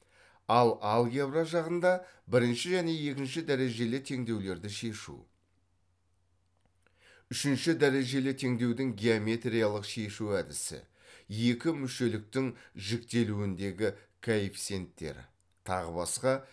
ал алгебра жағында бірінші және екінші дәрежелі теңдеулерді шешу үшінші дәрежелі теңдеудің геометриялық шешу әдісі екімүшеліктің жіктелуіндегі коэффициенттері тағы басқа